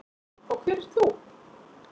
Og hver ert þú?